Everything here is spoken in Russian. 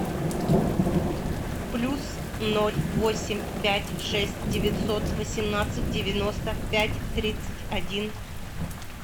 плюс ноль восемь пять шесть девятьсот восемнадцать девяносто пять тридцать один